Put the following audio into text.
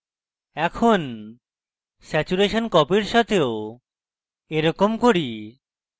এখন saturation copy এর সাথেও এরকম করি